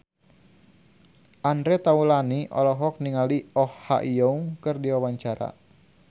Andre Taulany olohok ningali Oh Ha Young keur diwawancara